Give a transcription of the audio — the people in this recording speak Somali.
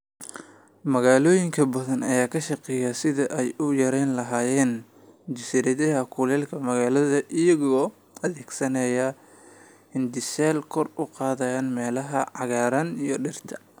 Magaalooyin badan ayaa ka shaqeynaya sidii ay u yareyn lahaayeen jasiiradaha kulaylka magaalada iyagoo adeegsanaya hindiseyaal kor u qaadaya meelaha cagaaran iyo dhirta.